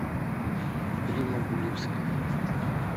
римма гуливская